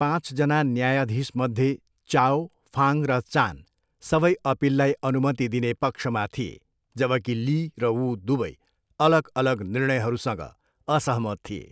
पाँचजना न्यायाधीशमध्ये, Chao, Fang र चान सबै अपिललाई अनुमति दिने पक्षमा थिए, जबकि ली र वू दुवै अलग अलग निर्णयहरूसँग असहमत थिए।